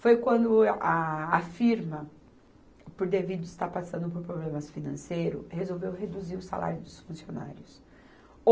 Foi quando a, a firma, por devido estar passando por problemas financeiros, resolveu reduzir o salário dos funcionários.